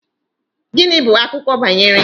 Gịnị bụ akụkọ banyere?